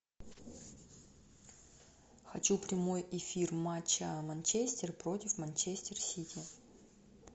хочу прямой эфир матча манчестер против манчестер сити